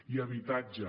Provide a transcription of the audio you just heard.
i habitatge